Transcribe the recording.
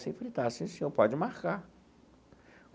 Sempre está, sim, senhor pode marcar.